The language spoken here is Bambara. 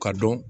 Ka dɔn